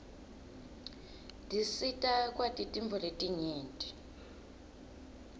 tisita kwati tintfo letinyenti